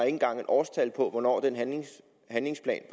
engang et årstal på hvornår den handlingsplan